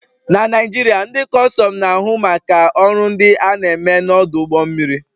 Na Naijiria, ndị Kustum na-ahụ maka ọrụ ndị a na-eme n'ọdụ ụgbọ mmiri